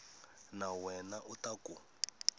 wa wena u ta ku